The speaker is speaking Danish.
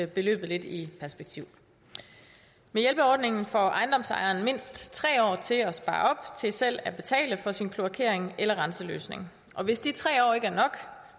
beløbet lidt i perspektiv med hjælpeordningen får ejendomsejeren mindst tre år til at spare op til selv at betale for sin kloakering eller renseløsning og hvis de tre år ikke er nok